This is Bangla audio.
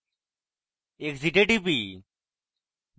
exit এ টিপি